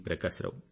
Prakasarao